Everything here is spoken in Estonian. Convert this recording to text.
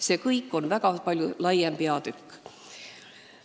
See kõik on väga palju laiem peatükk.